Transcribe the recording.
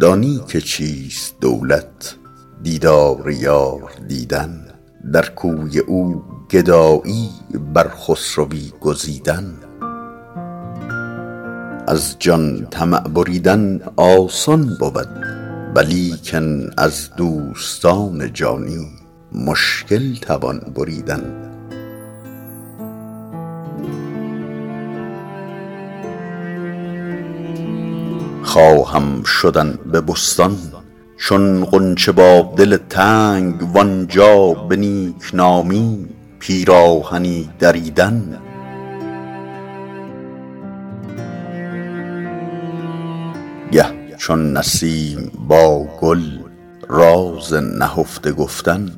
دانی که چیست دولت دیدار یار دیدن در کوی او گدایی بر خسروی گزیدن از جان طمع بریدن آسان بود ولیکن از دوستان جانی مشکل توان بریدن خواهم شدن به بستان چون غنچه با دل تنگ وآنجا به نیک نامی پیراهنی دریدن گه چون نسیم با گل راز نهفته گفتن